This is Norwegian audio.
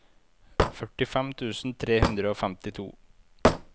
førtifem tusen tre hundre og femtito